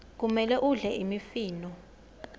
kumele udle imifino